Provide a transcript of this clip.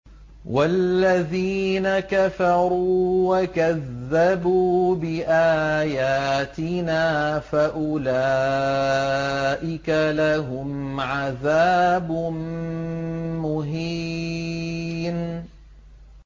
وَالَّذِينَ كَفَرُوا وَكَذَّبُوا بِآيَاتِنَا فَأُولَٰئِكَ لَهُمْ عَذَابٌ مُّهِينٌ